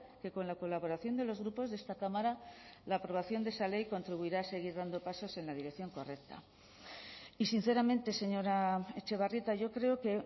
que con la colaboración de los grupos de esta cámara la aprobación de esa ley contribuirá a seguir dando pasos en la dirección correcta y sinceramente señora etxebarrieta yo creo que